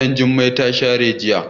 Gida Jummai ta share jiya.